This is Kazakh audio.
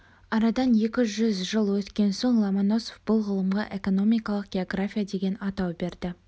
арадан екі жүз жыл өткен соң ломоносов бұл ғылымға экономикалық география деген атау берді